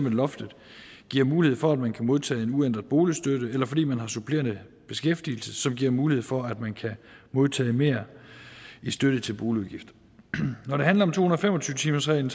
at loftet giver mulighed for at man kan modtage en uændret boligstøtte eller fordi man har supplerende beskæftigelse som giver mulighed for at man kan modtage mere i støtte til boligudgifter når det handler om to hundrede og fem og tyve timersreglen